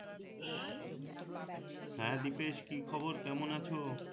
হ্যা দীপেশ কি খবর কেমন আছো?